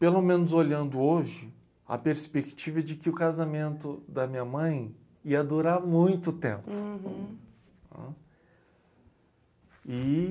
Pelo menos olhando hoje, a perspectiva é de que o casamento da minha mãe ia durar muito tempo. E